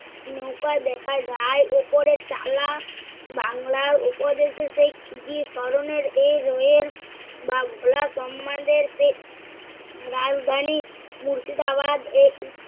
নৌকা দেখা যায়। ওপরে তালা বাংলার উপদেশে সেই ক্ষিদি স্মরণের এই রয়ের বা ভোলা সমাজের চেয়ে রাজধানী মুর্শিদাবাদ এর উপ~